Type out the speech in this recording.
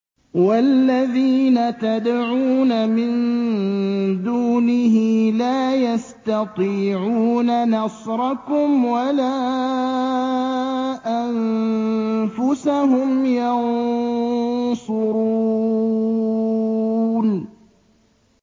وَالَّذِينَ تَدْعُونَ مِن دُونِهِ لَا يَسْتَطِيعُونَ نَصْرَكُمْ وَلَا أَنفُسَهُمْ يَنصُرُونَ